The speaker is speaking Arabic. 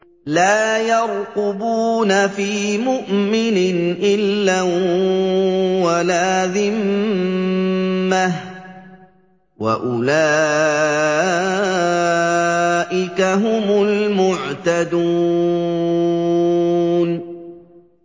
لَا يَرْقُبُونَ فِي مُؤْمِنٍ إِلًّا وَلَا ذِمَّةً ۚ وَأُولَٰئِكَ هُمُ الْمُعْتَدُونَ